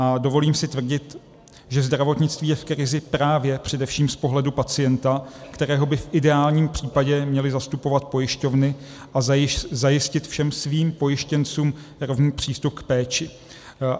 A dovolím si tvrdit, že zdravotnictví je v krizi právě především z pohledu pacienta, kterého by v ideálním případě měly zastupovat pojišťovny, a zajistit všem svým pojištěncům rovný přístup k péči.